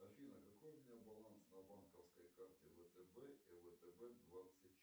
афина какой у меня баланс на банковской карте втб и втб двадцать четыре